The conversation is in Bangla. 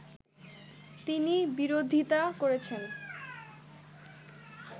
তিনি বিরোধিতা করছেন